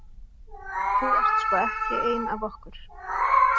Þú ert sko ekki ein af okkur.